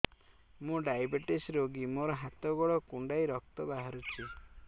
ମୁ ଡାଏବେଟିସ ରୋଗୀ ମୋର ହାତ ଗୋଡ଼ କୁଣ୍ଡାଇ ରକ୍ତ ବାହାରୁଚି